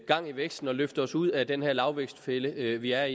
gang i væksten og løfte os ud af den her lavvækstfælde vi er